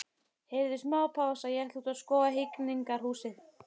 Heyrðu, smá pása, ég ætla út að skoða Hegningarhúsið.